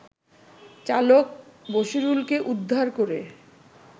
চালক বশিরুলকে উদ্ধার করে